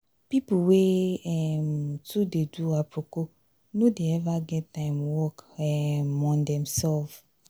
pipu wey um too dey do aproko no dey eva get time work um on themsef.